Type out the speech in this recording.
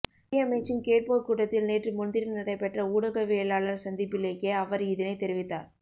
நிதியமைச்சின் கேட்போர் கூடத்தில் நேற்று முன்தினம் நடைபெற்ற ஊடகவியலாளர் சந்திப்பிலேயே அவர் இதனைத் தெரிவித்தார்